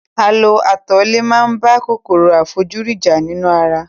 A lo atalẹ̀ máa ń bá kòkòrò àìfojúrí jà nínú ara